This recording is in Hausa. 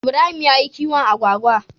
Ibrahim yayi kiwon Agwagwa